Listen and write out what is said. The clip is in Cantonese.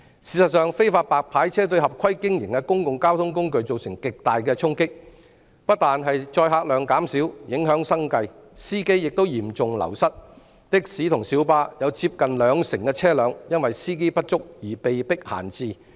事實上，非法"白牌車"對合規經營的公共交通工具造成極大衝擊，不但載客量減少，影響生計，司機亦嚴重流失，的士及小巴有接近兩成車輛因為司機不足而被迫閒置。